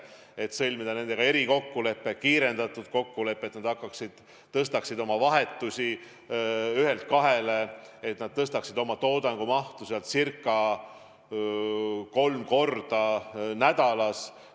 Nendega sõlmitakse erikokkulepe, kiirendatud kokkulepe, et nad suurendaksid oma vahetuste arvu ühelt kahele, et nad tõstaksid toodangu mahtu ca kolmekordseks nädalas.